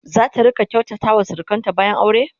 zata rinƙa kyautata wa surukanta bayan aure?